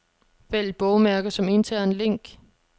Vælg bogmærke som intern link.